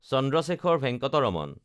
Chandrashekhar Venkata Raman